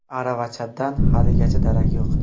Aravachadan haligacha darak yo‘q.